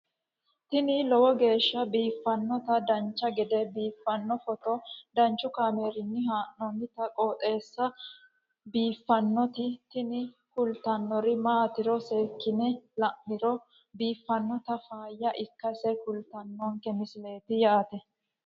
tini lowo geeshsha biiffannoti dancha gede biiffanno footo danchu kaameerinni haa'noonniti qooxeessa biiffannoti tini kultannori maatiro seekkine la'niro biiffannota faayya ikkase kultannoke misileeti yaate